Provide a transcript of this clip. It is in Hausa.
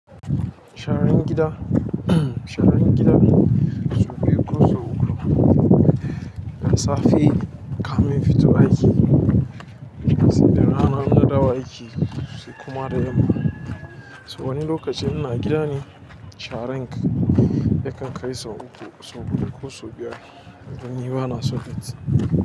Sharan gida, sharan gida sau biyu ko sau uku. Da safe kamin in fito aiki, sai da rana in na dawo aiki, sai da yamma so wani lokacin ina gida ne sharan nikan kai sau uku, sau huɗu ko sau biyar, dun ni bana son datti.